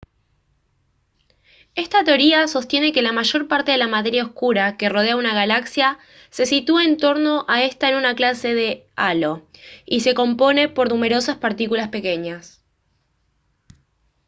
esta teoría sostiene que la mayor parte de la materia oscura que rodea a una galaxia se sitúa en torno a esta en una clase de halo y se compone por numerosas partículas pequeñas